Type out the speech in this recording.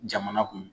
Jamana kun